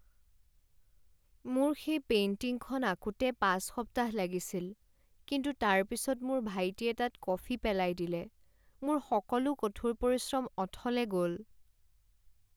মোৰ সেই পেইণ্টিংখন আঁকোতে পাঁচ সপ্তাহ লাগিছিল কিন্তু তাৰপিছত মোৰ ভাইটিয়ে তাত কফি পেলাই দিলে। মোৰ সকলো কঠোৰ পৰিশ্ৰম অথলে গ'ল।